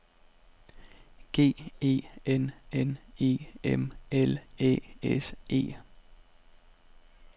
G E N N E M L Æ S E